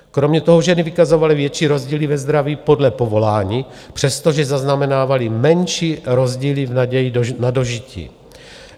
Kromě toho ženy vykazovaly větší rozdíly ve zdraví podle povolání, přestože zaznamenávaly menší rozdíly v naději na dožití.